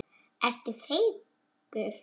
Ertu feigur?